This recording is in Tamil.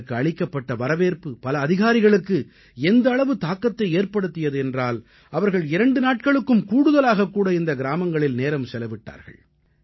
அவர்களுக்கு அளிக்கப்பட்ட வரவேற்பு பல அதிகாரிகளுக்கு எந்த அளவு தாக்கத்தை ஏற்படுத்தியது என்றால் அவர்கள் இரண்டு நாட்களுக்கும் கூடுதலாகக் கூட இந்த கிராமங்களில் நேரம் செலவிட்டார்கள்